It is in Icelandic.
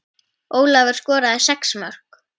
Ólafur skoraði sex mörk.